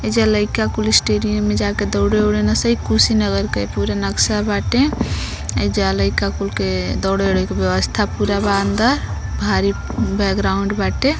एइजा लईका कुल स्टेडियम में जाके दोड़े औड़े न स। इ कुशीनगर के पूरा नक्शा बाटे। एइजा लईका कुल के दौड़े औड़े के व्यवस्था पूरा बा अंदर। भारी बैकग्राउंड बाटे।